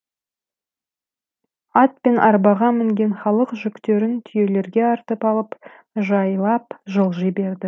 ат пен арбаға мінген халық жүктерін түйелерге артып алып жайлап жылжи берді